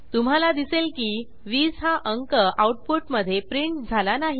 तुम्हाला दिसेल की 20 हा अंक आऊटपुटमधे प्रिंट झाला नाही